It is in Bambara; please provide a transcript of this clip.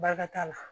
Bakari t'a la